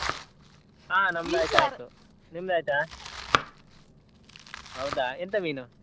ಹಾ ನಿಮ್ದ ಆಯ್ತಾ? ಹೌದಾ ಎಂಥ ಮೀನು?